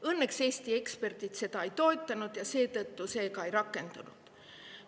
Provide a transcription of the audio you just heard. Õnneks Eesti eksperdid seda ei toetanud ja seetõttu see ka ei rakendunud.